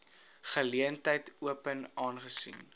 geleentheid open aangesien